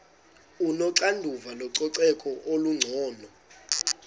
onoxanduva lococeko olungcono